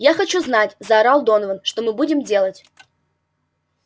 я хочу знать заорал донован что мы будем делать